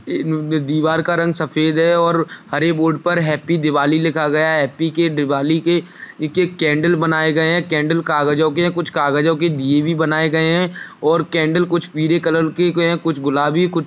दीवार का रंग सफेद है और हरे बोर्ड पर हैप्पी दिवाली लिखा गया है हैप्पी के दिवाली के नीचे कंडल बनाए गए है कंडल कागजो के है कुछ कागजों के दिये भी बनाए गए है और कैंडल कुछ पीले कलर के है कुछ गुलाबी कुछ --